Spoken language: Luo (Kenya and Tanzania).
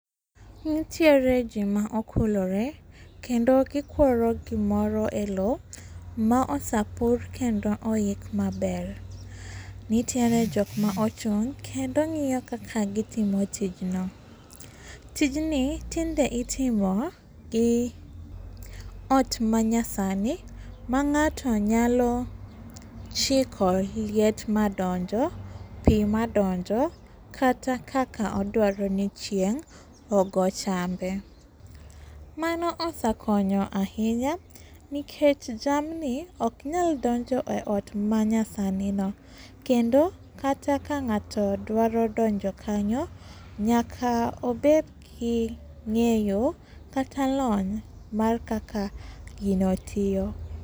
Nitiere jii maokulore kendo gikworo gimoro e loo maosepur kendo oik maber. Nitiere jokma ochung' kendo ng'iyo kaka gitimo tijno. Tijni tinde itimo gi ot manyasani mang'ato nyalo chiko liet madonjo, pii madonjo kata kaka odwaro ni chieng' ogo chambe. Mano osekonyo ahinya, nikech jamni oknyal donjo e ot manyasani no, kendo kata kang'ato dwaro donjo kanyo, nyaka obedgi ng'eyo kata lony mar kaka gino tiyo.